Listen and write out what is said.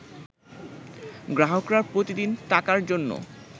গ্রাহকরা প্রতিদিন টাকার জন্য